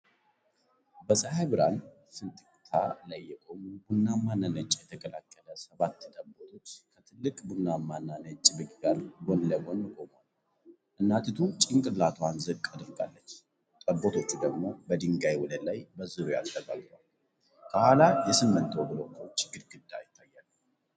በፀሐይ ብርሃን ፍንጥቅታ ላይ የቆሙ፣ ቡናማና ነጭ የተቀላቀለ ሰባት ጠቦቶች ከትልቅ ቡናማና ነጭ በግ ጋር ጎን ለጎን ቆመዋል። እናቲቱ ጭንቅላቷን ዝቅ አድርጋለች፣ ጠቦቶቹ ደግሞ በድንጋይ ወለል ላይ በዙሪያዋ ተጠጋግተዋል። ከኋላቸው የሲሚንቶ ብሎኮች ግድግዳ ይታያል።